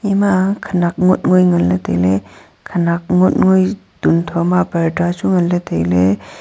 ma khanak ngot ngoi nganle taile khanak ngot ngoi tuntho ma parda chu nganle taile.